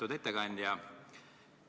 Lugupeetud ettekandja!